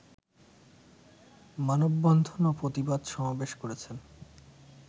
মানববন্ধন ও প্রতিবাদ সমাবেশ করেছেন।